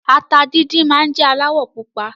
Ata díndín máa n jẹ alawọ pupa.